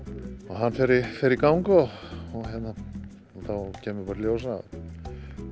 hann fer fer í gang og þá kemur í ljós að